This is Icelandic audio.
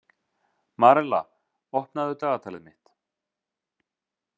Marella, opnaðu dagatalið mitt.